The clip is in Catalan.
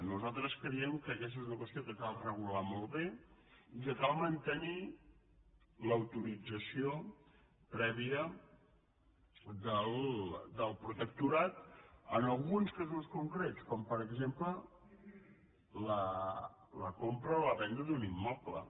nosaltres creiem que aquesta és una qüestió que cal regular molt bé i que cal mantenir l’autorització prèvia del protectorat en alguns casos concrets com per exemple la compra o la venda d’un immoble